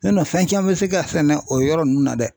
fɛn caman bɛ se ka sɛnɛ o yɔrɔ ninnu na dɛ.